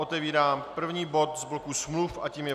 Otevírám první bod z bloku smluv a tím je